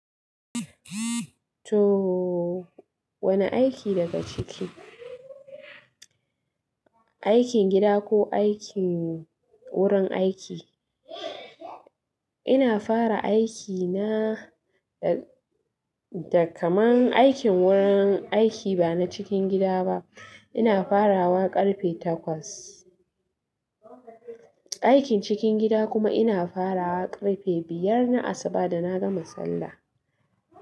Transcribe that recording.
To wane aiki daga ciki? Aikin gida ko aikin gurin aiki? Ina fara aikina da kaman aikin gurin aiki ba na cikin gida ba. Ina farawa karfe takwas. Aikin cikin gida kuma ina farawa karfe biyar na asuba da na gama sallah.